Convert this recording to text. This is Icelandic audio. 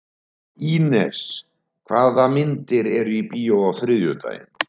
Ínes, hvaða myndir eru í bíó á þriðjudaginn?